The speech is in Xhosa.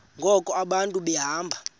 ngoku abantu behamba